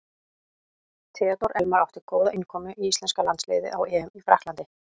Theodór Elmar átti góða innkomu í íslenska landsliðið á EM í Frakklandi.